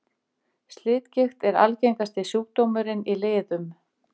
slitgigt er algengasti sjúkdómurinn í liðum